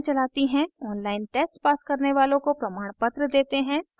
online test pass करने वालों को प्रमाणपत्र देते हैं